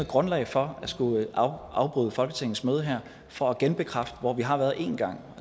grundlag for at skulle afbryde folketingets møde her for at genbekræfte hvor vi har været en gang